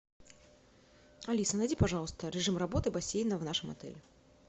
алиса найди пожалуйста режим работы бассейна в нашем отеле